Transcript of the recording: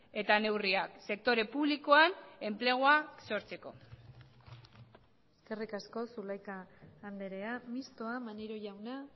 eta neurriak sektore publikoan enplegua sortzeko eskerrik asko zulaika andrea mistoa maneiro jauna